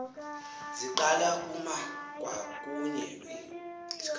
ziqala kuma kwakunye